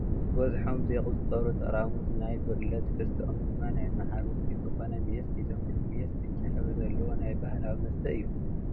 በዝሖም ዘይቁፀሩ ጠራሙዝ ናይ ብርለ ትሕዝትኦም ድማ ናይ መዓር ውፅኢት ዝኮነ ሜስ ሒዞም እቲ ሜስ ብጫ ሕብሪ ዘለዎ ናይ ባህላዊ መስተ እዩ።